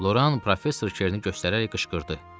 Loran professor Kerni göstərərək qışqırdı.